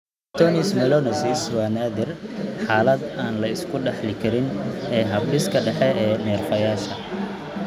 Neurocutaneous melanosis (NCM) waa naadir, xaalad aan la iska dhaxli karin ee habdhiska dhexe ee neerfayaasha.